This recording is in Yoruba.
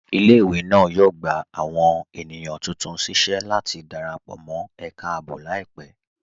Ilẹ̀-ìwé náà yóò gbà awọn ènìyàn tuntun síṣẹ̀ láti darapọ̀ mọ̀ ẹká ààbò laipẹ̀.